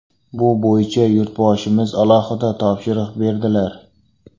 Bu bo‘yicha Yurtboshimiz alohida topshiriq berdilar.